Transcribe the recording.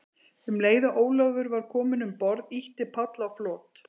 Um leið og Ólafur var kominn um borð, ýtti Páll á flot.